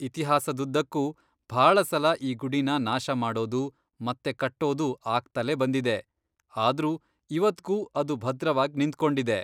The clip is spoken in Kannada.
ಇತಿಹಾಸದುದ್ದಕ್ಕೂ ಭಾಳ ಸಲ ಈ ಗುಡಿನ ನಾಶ ಮಾಡೋದು, ಮತ್ತೆ ಕಟ್ಟೋದು ಆಗ್ತಲೇ ಬಂದಿದೆ, ಆದ್ರೂ ಇವತ್ಗೂ ಅದು ಭದ್ರವಾಗ್ ನಿಂತ್ಕೊಂಡಿದೆ.